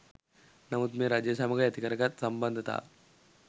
නමුත් මේ රජය සමග ඇතිකරගත් සම්බන්ධතාව